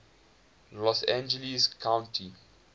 los angeles county